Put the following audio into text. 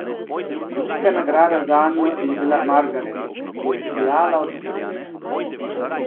Velika nagrada zanjo je bila Margaret, ki je sijala od sreče.